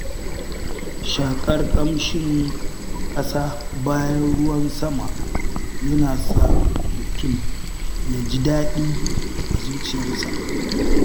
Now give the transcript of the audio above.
Shaƙar ƙamshin ƙasa bayan ruwan sama yana sa mutum ya ji daɗi a zuciyarsa.